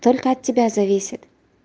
только от тебя зависит